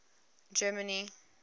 germany